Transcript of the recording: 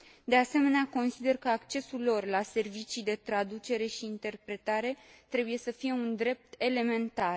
De asemenea, consider că accesul lor la servicii de traducere și interpretare trebuie să fie un drept elementar.